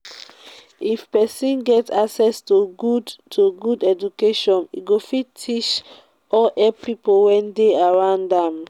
if persin get accesss to good to good education im go fit teach or help pipo wey de around am